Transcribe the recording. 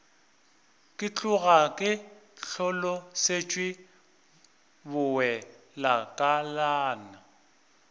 ke tloga ke hlolosetšwe bowelakalana